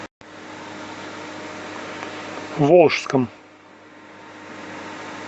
волжском